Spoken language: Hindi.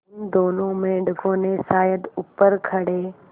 उन दोनों मेढकों ने शायद ऊपर खड़े